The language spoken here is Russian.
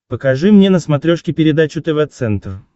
покажи мне на смотрешке передачу тв центр